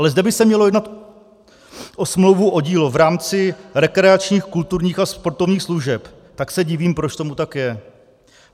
Ale zde by se mělo jednat o smlouvu o dílo v rámci rekreačních, kulturních a sportovních služeb, tak se divím, proč tomu tak je.